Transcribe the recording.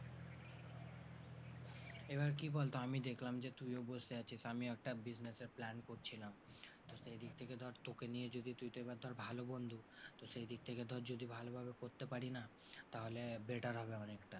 এবার কি বলতো আমি দেখলাম যে তুইও বসে আছিস আমিও একটা business এর plan করছিলাম তো সেই দিক থেকে ধর তোকে নিয়ে যদি তুই তো এবার ধর ভালো বন্ধু, তো সেই দিক থেকে ধর যদি ভালোভাবে করতে পারি না তাহলে better হবে অনেকটা।